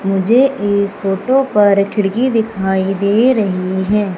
मुझे इस फोटो पर खिड़की दिखाई दे रही है।